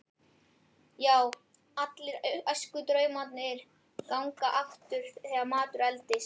Já, allir æskudraumarnir ganga aftur þegar maður eldist.